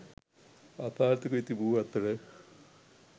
අසාර්ථක වී තිබූ අතර